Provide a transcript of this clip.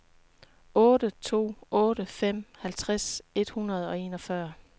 otte to otte fem halvtreds et hundrede og enogfyrre